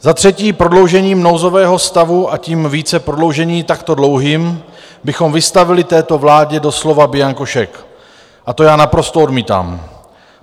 Za třetí prodloužením nouzového stavu, a tím více prodloužení takto dlouhým, bychom vystavili této vládě doslova bianko šek a to já naprosto odmítám.